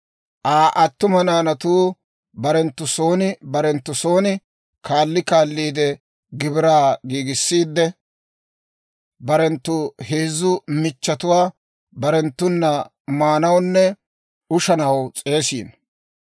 Aa attuma naanatuu barenttu son barenttu son, kaali kaali gibiraa giigissiide, barenttu heezzu michchetuwaa barenttuna maanawunne ushanaw s'eesiino.